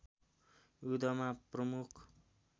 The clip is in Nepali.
युद्धमा प्रमुख